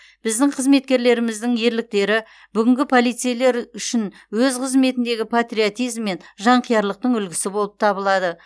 біздің қызметкерлеріміздің ерліктері бүгінгі полицейлер үшін өз қызметіндегі патриотизм мен жанқиярлықтың үлгісі болып табылады